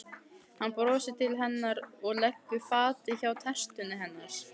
Hann brosir til hennar og leggur fatið hjá tertunni hennar.